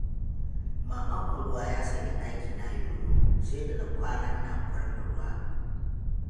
Mamakon ruwa ya sanya ɗakina yoyo, sai da na kwana ina kwarfe ruwa.